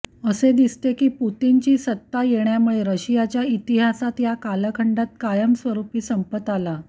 असे दिसते की पुतिनची सत्ता येण्यामुळे रशियाच्या इतिहासात या कालखंडात कायमस्वरूपी संपत आला